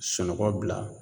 Sunɔgɔ bila